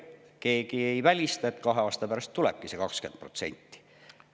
Keegi ei välista, et kahe aasta pärast tulebki see 20%.